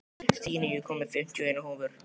Stína, ég kom með fimmtíu og eina húfur!